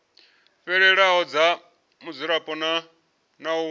fhelelaho dza mudzulapo na u